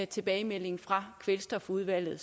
tilbagemeldingen fra kvælstofudvalget